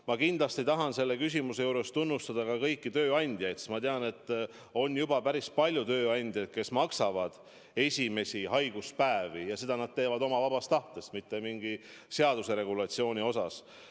Ma kindlasti tahan selle küsimusega seoses tunnustada ka kõiki tööandjaid, sest ma tean, et on juba päris palju tööandjaid, kes maksavad esimeste haiguspäevade eest, ja seda nad teevad oma vabast tahtest, mitte mingi seaduse regulatsiooni järgides.